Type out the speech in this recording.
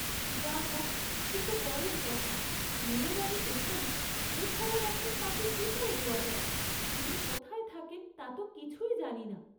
যা হক সেত পরের কথা, নীরজা যে এখানে, এ খবর এখন তাঁকে কি করে দেওয়া যায়, তিনি কোথায় থাকেন তাত কিছুই জানি না।